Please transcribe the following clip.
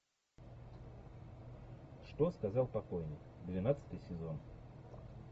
что сказал покойник двенадцатый сезон